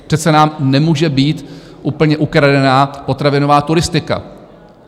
Přece nám nemůže být úplně ukradená potravinová turistika!